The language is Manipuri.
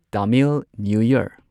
Tamil new year